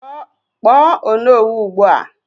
Kpọọ Onowu ugbu a!